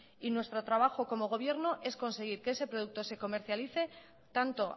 y nuestro trabajo como gobierno es conseguir que ese producto se comercialice tanto